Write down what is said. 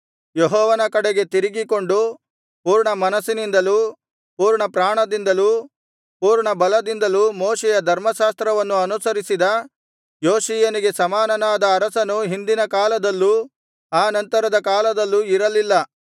ಯೆಹೋವನ ಕಡೆಗೆ ತಿರುಗಿಕೊಂಡು ಪೂರ್ಣಮನಸ್ಸಿನಿಂದಲೂ ಪೂರ್ಣಪ್ರಾಣದಿಂದಲೂ ಪೂರ್ಣಬಲದಿಂದಲೂ ಮೋಶೆಯ ಧರ್ಮಶಾಸ್ತ್ರವನ್ನು ಅನುಸರಿಸಿದ ಯೋಷೀಯನಿಗೆ ಸಮಾನನಾದ ಅರಸನು ಹಿಂದಿನ ಕಾಲದಲ್ಲೂ ಆ ನಂತರದ ಕಾಲದಲ್ಲೂ ಇರಲಿಲ್ಲ